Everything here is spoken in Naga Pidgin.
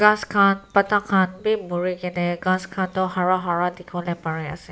ghass khan pata khan bhi mori ke ne ghass khan toh hara hara dekhi bole pare ase.